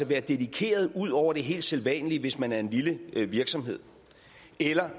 være dedikeret ud over det helt sædvanlige hvis man er en lille virksomhed eller